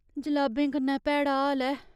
जलाबें कन्नै भैड़ा हाल ऐ।